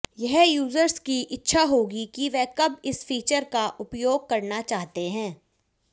यह यूज़र्स कि इच्छा होगी कि वे कब इस फीचर का उपयोग करना चाहते हैं